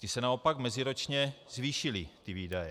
Ty se naopak meziročně zvýšily, ty výdaje.